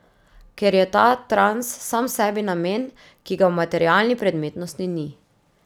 Ker je ta trans sam sebi namen, ki ga v materialni predmetnosti ni.